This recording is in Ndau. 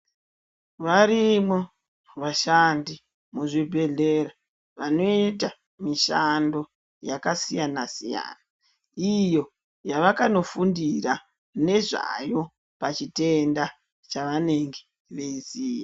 Varimo vashandi mu zvibhedhlera vanoita mishando yaka siyana siyana iyo yavakano fundira nezvayo pa chitenda chanenge veiziya.